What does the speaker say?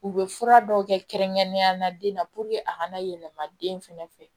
U bɛ fura dɔw kɛ kɛrɛnkɛrɛnnenya la den na a kana yɛlɛma den fɛnɛ fɛ